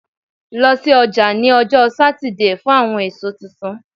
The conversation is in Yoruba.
Lọ si ọja ni ọjọ Satidee fun awọn eso tuntun